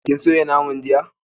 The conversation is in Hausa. Kin soya naman jiya?